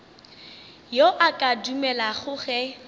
yo a ka dumelago ge